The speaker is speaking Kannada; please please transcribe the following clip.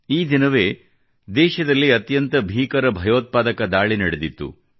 ಈ ದಿನವೇ ದೇಶದಲ್ಲಿ ಅತ್ಯಂತ ಭೀಕರ ಭಯೋತ್ಪಾದಕ ದಾಳಿ ನಡೆದಿತ್ತು